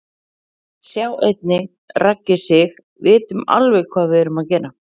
Sjá einnig: Raggi Sig: Vitum alveg hvað við erum að gera